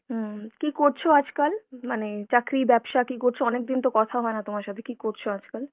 হুম, কী করছো আজকাল? মানে চাকরি, ব্যবসা কী করছো? অনেকদিন তো কথা হয় না তোমার সাথে, কী করছো আজকাল?